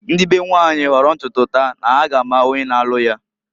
Ndị be nwanyị hooro ntutu taa na ha ga ama onye na-alụ ya.